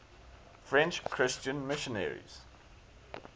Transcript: french christian missionaries